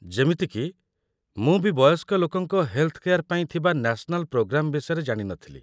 ଯେମିତି କି, ମୁଁ ବି ବୟସ୍କ ଲୋକଙ୍କ ହେଲ୍ଥ୍ କେୟାର୍‌ ପାଇଁ ଥିବା ନ୍ୟାସ୍ନାଲ ପ୍ରୋଗ୍ରାମ ବିଷୟରେ ଜାଣିନଥିଲି ।